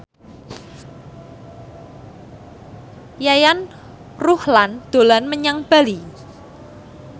Yayan Ruhlan dolan menyang Bali